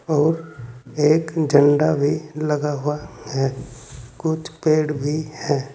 और एक झंडा भी लगा हुआ है कुछ पेड़ भी है।